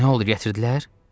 Nə oldu, gətirdilər?